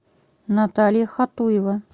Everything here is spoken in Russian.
наталья хатуева